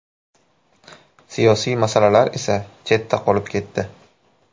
Siyosiy masalalar esa chetda qolib ketdi.